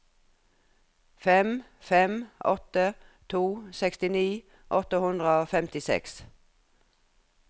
fem fem åtte to sekstini fem hundre og femtiseks